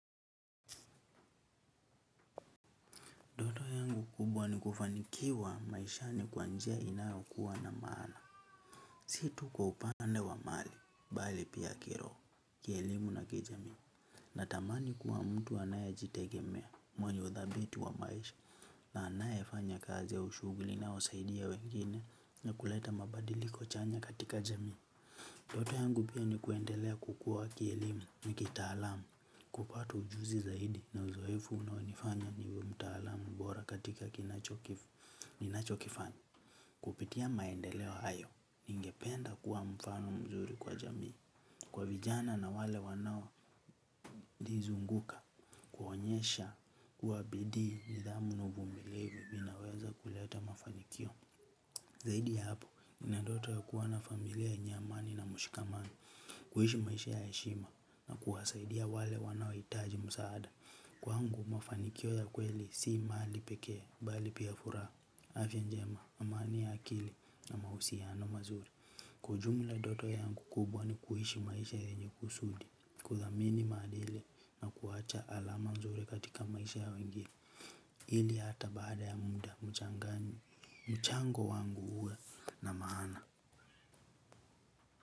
Ndoto yangu kubwa ni kufanikiwa maishani kwa njia inayokuwa na maana. Si tu kwa upande wa mali, bali pia kiroho, kielimu na kijamii. Natamani kuwa mtu anayejitegemea, mwenye uthabiti wa maisha, na anayefanya kazi au shughuli inayosaidia wengine na kuleta mabadiliko chanya katika jamii. Ndoto yangu pia ni kuendelea kukua kielimu na kitaalamu, kupata ujuzi zaidi na uzoefu unaonifanya niwe mtaalamu bora katika ninachokifanya. Kupitia maendeleo hayo ningependa kuwa mfano mzuri kwa jamii, kwa vijana na wale wanaonizunguka, kuonyesha kuwa bidii, nidhamu na uvumilivu vinaweza kuleta mafanikio. Zaidi ya hapo nina ndoto ya kuwa na familia yenye amani na mshikamano. Kuishi maisha ya heshima na kuwasaidia wale wanaohitaji msaada. Kwangu mafanikio ya kweli si mali pekee, bali pia furaha, afya njema, amani ya akili na mahusiano mazuri. Kwa ujumla, ndoto yangu kubwa ni kuishi maisha yenye kusudi, kuthamini maadili na kuacha alama nzuri katika maisha ya wengine. Ili hata baada ya muda mchango wangu uwe na maana.